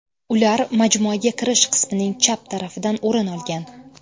Ular majmuaga kirish qismining chap tarafidan o‘rin olgan.